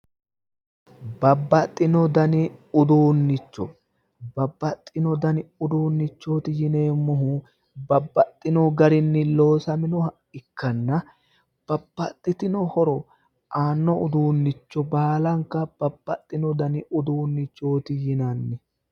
Babbaxino dani uduunnicho, Babbaxino dani uduunnichooti yineemmohu babbaxino garinni loosaminoha ikkanna babbaxitino horo aanno uduunnicho baalanka babbaxino dani uduunnichooti yinanni.